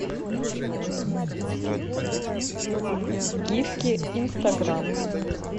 гифки инстаграм